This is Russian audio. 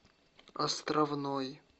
островной